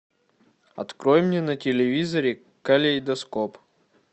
открой мне на телевизоре калейдоскоп